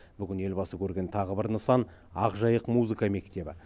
бүгін елбасы көрген тағы бір нысан ақ жайық музыка мектебі